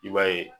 I b'a ye